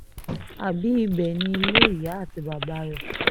àbí ibẹ̀ ni ilé ìyá àti bàbá rẹ̀